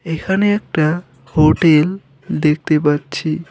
এখানে একটা হোটেল দেখতে পাচ্ছি।